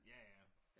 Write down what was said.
Ja ja